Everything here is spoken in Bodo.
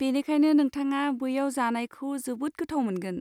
बेनिखायनो नोंथाङा बैयाव जानायखौ जोबोद गोथाव मोनगोन।